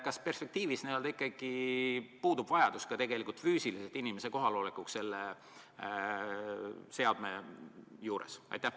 Kas perspektiivis ikkagi puudub vajadus tegelikult füüsiliselt inimese kohaloleku järele selle seadme juures?